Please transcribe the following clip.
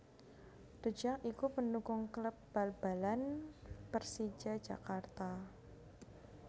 The Jak iku pendukung kléb bal balan Pérsija Jakarta